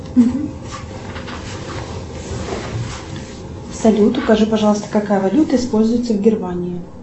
салют укажи пожалуйста какая валюта используется в германии